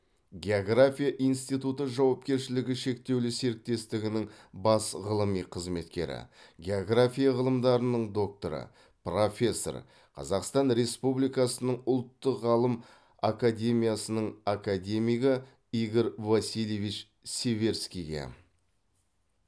география институты жауапкершілігі шектеулі серіктестігінің бас ғылыми қызметкері география ғылымдарының докторы профессор қазақстан республикасының ұлттық ғалым академиясының академигі игорь васильевич северскийге